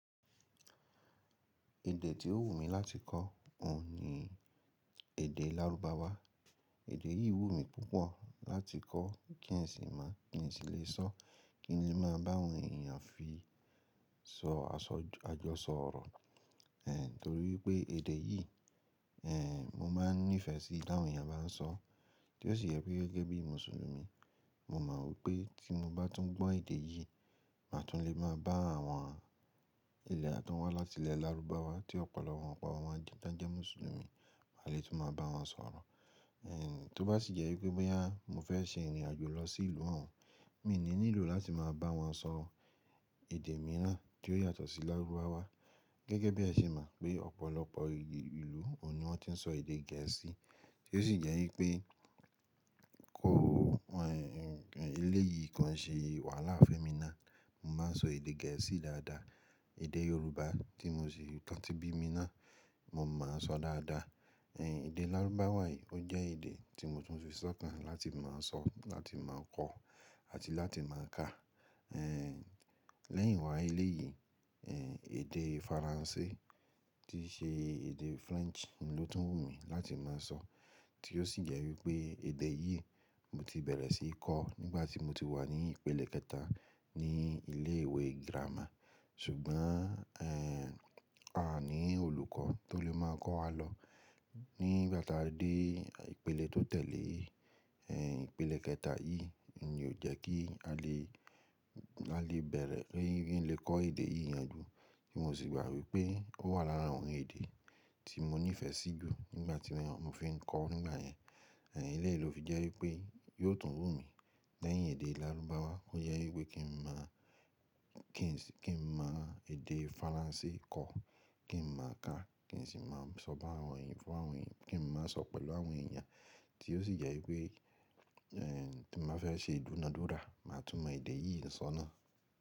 Èdè tí ó wù mí láti kọ́ òun ni èdè lárúbáwá. Èdè yìí wù mí púpọ̀ láti kọ́ kí n sì mo kí n sì lè sọ́, kí n lè máa bá àwọn èèyàn fi sọ àjọsọ ọ̀rọ̀. Torí wipé èdè yìí, mo máa nífẹ̀ẹ́ sí í tí àwọn èèyàn bá ń sọ. Tí ó sì jẹ́ wípé gẹ́gẹ́ bí Mùsùlùmí, mo mọ̀ wípé tí mo bá tún gbọ́ èdè yìí, máa tún lè máa bá àwọn ilẹ̀ tan wá láti ilẹ̀ lárúbáwá tí ọ̀pọ̀lọpọ̀ wọn pọ̀ wọn jẹ́ Mùsùlùmí, kin lè tún máa bá wọn sọ̀rọ̀. Tó bá sì jẹ́ wípé bóyá mo fẹ́ ṣe ìrìnàjò lọ sí ìlú wọn, mi n ní nílò láti máa bá wọn sọ̀rọ̀ èdè mìíràn tí ó yàtọ̀ sí lárúbáwá. Gẹ́gẹ́ bí ẹ ṣe mọ̀ pé ọ̀pọ̀lọpọ̀ ìlú òun ni wọ́n ti ń sọ èdè gẹ̀ẹ́sì. Tí ó sì jẹ́ wípé kó èlèyìí koi ṣe wàhálà fún emi naá. Mo máa n sọ èdè gẹ̀ẹ́sì dáadáa. Èdè Yorùbá tí mo sì tan ti bí mi náa, mo mo sọ dáadáa. Èdè lárúbáwá yìí ó jẹ́ èdè tí mo tún fi sọ́kàn láti mo sọ, láti mo kọ àti láti mo ka. Lẹ́yìn wá èlèyìí, èdè Faransé tí ṣe èdè French ni ó tún wù mí láti máa sọ. Tí ó sì jẹ́ wípé èdè yìí mo ti bẹ̀rẹ̀ sí í kọ̀ nígbà tí mo ti wà ní ìpele kẹta ní ilé ìwé gírámà. Ṣùgbọ́n, à ní olùkọ́ tó lè máa kọ́ wa lọ. Nígbà tá a dé ìpele tó tẹ̀lé yìí, ìpele kẹta yìí n ni ò jẹ́ kí a lè, a lè bẹ̀rẹ̀ kí, kí n lè kọ́ èdè yìí yanjú. Tí mo sì gbà wípé ó wà lára àwọn èdè tí mo nífẹ̀ẹ́ sí jù nígbà tí mo fi ń kọ̀ ó nígbà yẹn. Eléyi ló fi jẹ́ wípé yóò tún wù mí lẹ́yìn èdè lárúbáwá. Ó jẹ́ wípé kí n má kí n sì, kí n mo èdè Faransé kọ́, kí n mo ká, kí n sì mo sọ bá àwọn èèyàn fún àwọn èèyàn, kí n mo sọ pẹ̀lú àwọn èèyàn. Tí ó sì jẹ́ wípé, tí mo bá fẹ́ ṣe ìdúnadúrà, màá tún mọ èdè yìí sọ ná.